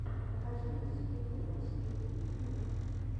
покажи носики курносики ютьюб